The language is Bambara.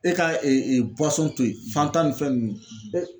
E ka to yen fanta ninnu ni fɛn ninnu